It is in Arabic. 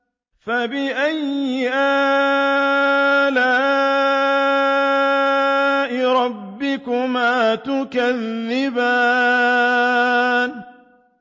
فَبِأَيِّ آلَاءِ رَبِّكُمَا تُكَذِّبَانِ